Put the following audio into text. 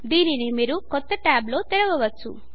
దీనిని మీరు కొత్త ట్యాబ్ లో తెరవవచ్చు